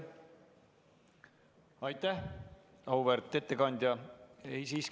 Aitäh, auväärt ettekandja!